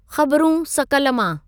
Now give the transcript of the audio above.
ख़बरूं सकल मां